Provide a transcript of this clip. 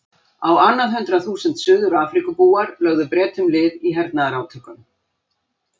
Á annað hundrað þúsund Suður-Afríkubúar lögðu Bretum lið í hernaðarátökum.